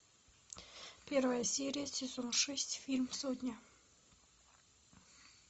первая серия сезон шесть фильм сотня